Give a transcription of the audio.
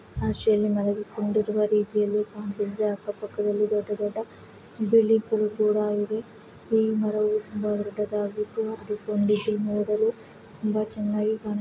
ಆಶಯಲ್ಲಿ ಮನೆಗೆ ಕೊಂಡಿರುವ ರೀತಿಯಲ್ಲಿ ಅಕ್ಕ ಪಕ್ದಲ್ಲಿ ಕಾಂತಿದೆ ಈ ಮರವು ತುಂಬಾ ತುಂಬಾ ಚೆನಾಗಿದೆ ।